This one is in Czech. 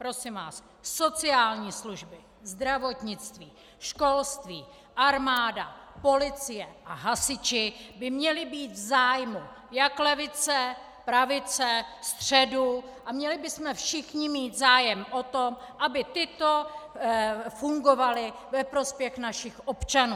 Prosím vás, sociální služby, zdravotnictví, školství, armáda, policie a hasiči by měli být v zájmu jak levice, pravice, středu a měli bychom všichni mít zájem o to, aby to fungovalo ve prospěch našich občanů.